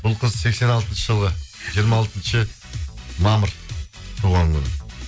бұл қыз сексен алтыншы жылғы жиырма алтыншы мамыр туған күні